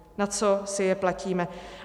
Na co si je platíme.